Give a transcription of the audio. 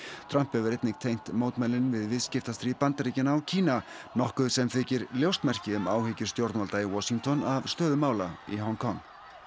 Trump hefur einnig tengt mótmælin við viðskiptastríð Bandaríkjanna og Kína nokkuð sem þykir ljóst merki um áhyggjur stjórnvalda í Washington af stöðu mála í Hong Kong